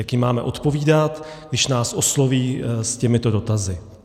Jak jim máme odpovídat, když nás osloví s těmito dotazy?